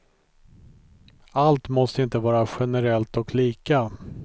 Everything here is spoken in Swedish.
Allt måste inte vara generellt och lika.